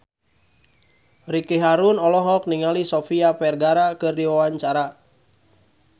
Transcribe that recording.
Ricky Harun olohok ningali Sofia Vergara keur diwawancara